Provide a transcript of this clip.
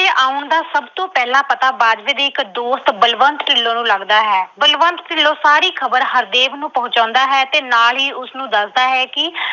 ਆਉਣ ਦਾ ਸਭ ਤੋਂ ਪਹਿਲਾਂ ਪਤਾ ਬਾਜਵੇ ਦੇ ਇੱਕ ਦੋਸਤ ਬਲਵੰਤ ਢਿੱਲੋਂ ਨੂੰ ਲੱਗਦਾ ਹੈ। ਬਲਵੰਤ ਢਿੱਲੋਂ ਸਾਰੀ ਖਬਰ ਹਰਦੇਵ ਨੂੰ ਪਹੁੰਚਾਉਂਦਾ ਹੈ ਤੇ ਨਾਲ ਹੀ ਉਸਨੂੰ ਦੱਸਦਾ ਹੈ ਕਿ